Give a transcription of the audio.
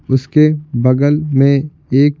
उसके बगल में एक--